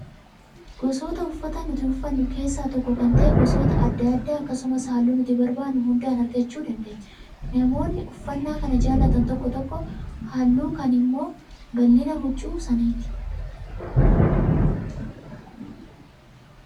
Gosoota uffataa nuti uffannu keessaa tokko kan ta'e gosoota adda addaa akkasumas halluu nuti barbaadnu hundaan argachuu dandeenya. Namoonni uffannaa kan jaallatan tokko tokko halluu kaan immoo bal'ina huccuu sanaatiini